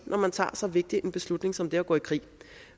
når man tager så vigtig en beslutning som det at gå i krig